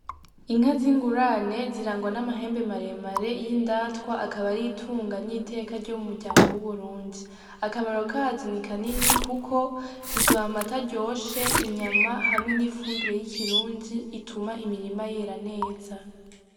Inka z'ingurane zirangwa n'amahembe maremare y'indatwa akaba ar'itunga , n'iteka ryo mu muryango w'uburundi . Akamaro kazo ni kanini kuko ziduh'amata aryoshe , inyama hamwe n'ifumbire y'ikirundi ituma imirima yera neza.